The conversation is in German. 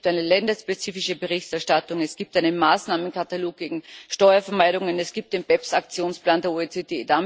Es gibt eine länderspezifische Berichterstattung, es gibt einen Maßnahmenkatalog gegen Steuervermeidung, und es gibt den BEPS Aktionsplan der OECD.